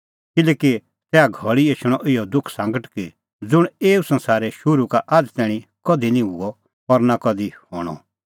किल्हैकि तैहा घल़ी एछणअ इहअ दुखसांगट कि ज़ुंण एऊ संसारे शुरू का आझ़ तैणीं कधि निं हुअ और नां कधि हणअ